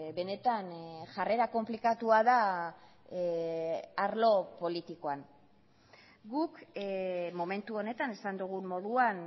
benetan jarrera konplikatua da arlo politikoan guk momentu honetan esan dugun moduan